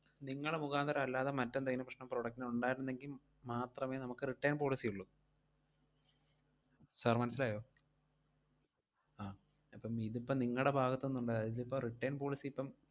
നിങ്ങള് മുഖാന്തിരം അല്ലാതെ മറ്റെന്തെങ്കിലും പ്രശ്‌നം product ന് ഒണ്ടായിട്ടൊണ്ടെങ്കി മാത്രമേ നമുക്ക് return policy ഒള്ളൂ. sir മനസിലായോ? ആഹ് അപ്പം ഇതിപ്പം നിങ്ങടെ ഭാഗത്തു നിന്നൊണ്ടായതാ. ഇതിപ്പം return policy ഇപ്പം,